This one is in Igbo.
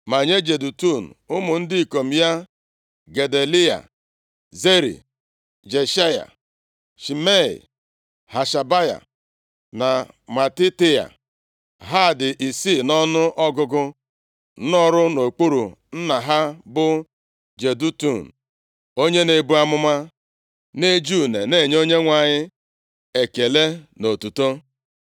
Ma nye Jedutun, ụmụ ndị ikom ya: Gedaliya, Zeri, Jeshaya, Shimei, Hashabaya na Matitaia. Ha dị isii nʼọnụọgụgụ nọrọ nʼokpuru nna ha bụ Jedutun, onye na-ebu amụma, na-eji une na-enye Onyenwe anyị ekele na otuto.